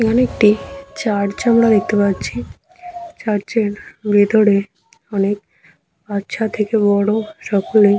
এখানে একটি চার্চ আমরা দেখতে পাচ্ছি। চার্চ এর ভেতরে অনেক বাচ্চা থেকে বড় সকলেই--